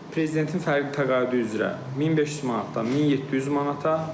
Prezidentin fərqi təqaüdü üzrə 1500 manatdan 1700 manata.